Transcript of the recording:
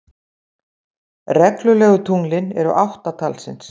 Reglulegu tunglin eru átta talsins.